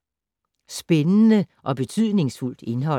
Spændende og betydningsfuldt indhold